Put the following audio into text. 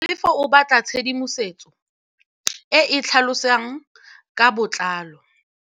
Tlhalefô o batla tshedimosetsô e e tlhalosang ka botlalô.